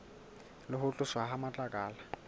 le ho tloswa ha matlakala